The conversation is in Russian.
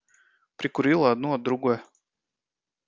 прикурила одну от другой